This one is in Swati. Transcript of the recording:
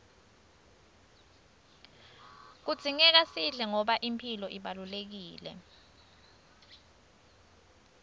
kudzingeka sidle ngoba imphilo ibalulekile